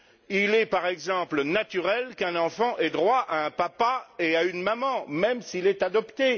Il est, par exemple, naturel qu'un enfant ait droit à un papa et à une maman, même s'il est adopté.